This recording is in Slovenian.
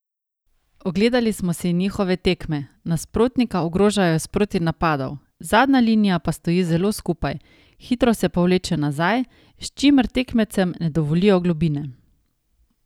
Ogledali smo si njihove tekme, nasprotnika ogrožajo iz protinapadov, zadnja linija pa stoji zelo skupaj, hitro se povleče nazaj, s čimer tekmecem ne dovolijo globine.